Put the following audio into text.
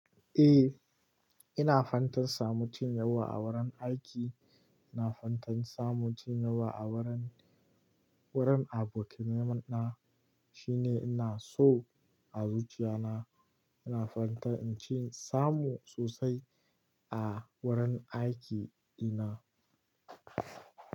Eh, ina fantan samu cin yawa a wurin aiki. Ina fantan samu cin yawa a wurin, wurin abokanai na. Shi ne ina so a zuciya na. Ina fata inci in samu sosai a wurin aiki na.